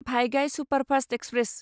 भाइगाय superfast express